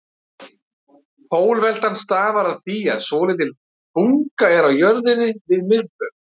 Pólveltan stafar af því að svolítil bunga er á jörðinni við miðbaug.